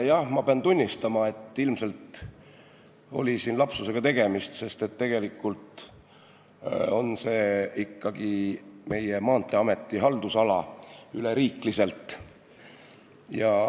Jah, ma pean tunnistama, et ilmselt oli lapsusega tegemist, sest tegelikult on see ikkagi Maanteeameti haldusala üleriikliselt.